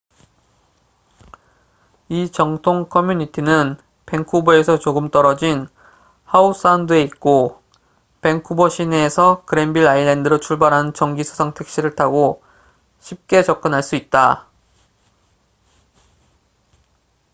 이 정통 커뮤니티는 밴쿠버에서 조금 떨어진 하우 사운드에 있고 밴쿠버 시내에서 그랜빌 아일랜드로 출발하는 정기 수상 택시를 타고 쉽게 접근할 수 있다